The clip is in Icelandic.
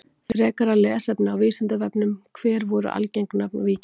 Frekara lesefni á Vísindavefnum: Hver voru algeng nöfn víkinga?